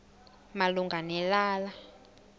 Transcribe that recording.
malunga ne lala